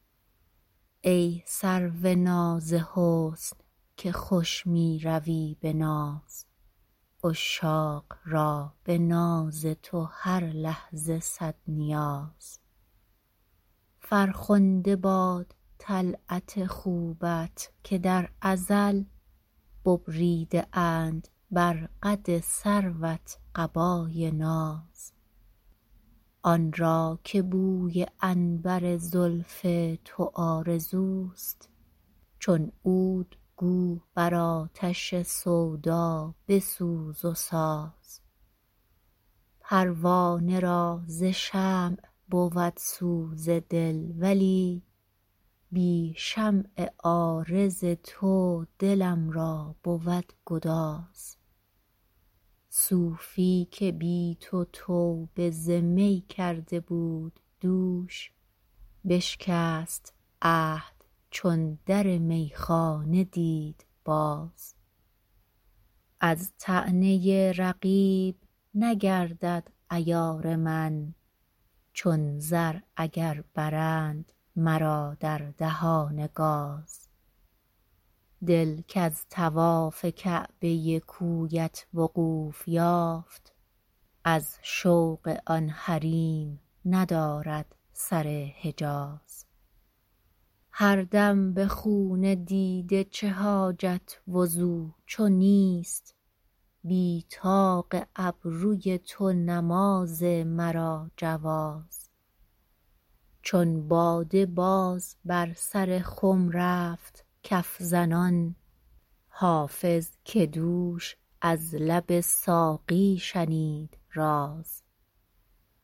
ای سرو ناز حسن که خوش می روی به ناز عشاق را به ناز تو هر لحظه صد نیاز فرخنده باد طلعت خوبت که در ازل ببریده اند بر قد سروت قبای ناز آن را که بوی عنبر زلف تو آرزوست چون عود گو بر آتش سودا بسوز و ساز پروانه را ز شمع بود سوز دل ولی بی شمع عارض تو دلم را بود گداز صوفی که بی تو توبه ز می کرده بود دوش بشکست عهد چون در میخانه دید باز از طعنه رقیب نگردد عیار من چون زر اگر برند مرا در دهان گاز دل کز طواف کعبه کویت وقوف یافت از شوق آن حریم ندارد سر حجاز هر دم به خون دیده چه حاجت وضو چو نیست بی طاق ابروی تو نماز مرا جواز چون باده باز بر سر خم رفت کف زنان حافظ که دوش از لب ساقی شنید راز